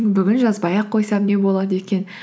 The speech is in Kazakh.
бүгін жазбай ақ қойсам не болады екен